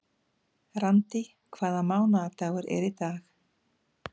Randý, hvaða mánaðardagur er í dag?